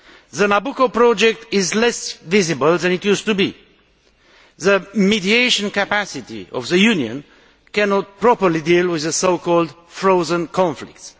The Nabucco project is less visible than it used to be. The mediation capacity of the Union cannot properly deal with so called frozen conflicts.